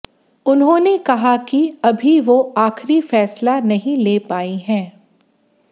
उन्होंने कहा कि अभी वो आखिरी फैसला नहीं ले पाई है